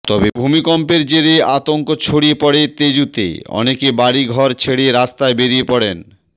তবে ভুমিকম্পের জেরে আতঙ্ক ছড়িয়ে পড়ে তেজুতে অনেকে বাড়ি ঘর ছেড়ে রাস্তায় বেরিয়ে পড়েন